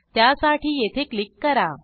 त्यासाठी येथे क्लिक करा